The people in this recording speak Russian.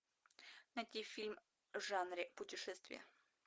найти фильм в жанре путешествия